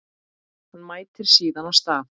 Hann mætir síðan á stað